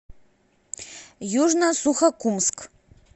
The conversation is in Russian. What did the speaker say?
южно сухокумск